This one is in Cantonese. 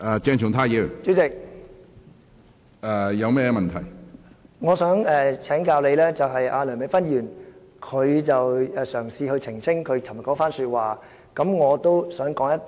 主席，我想請教你，梁美芬議員嘗試澄清她昨天的一番話，我也想說一句......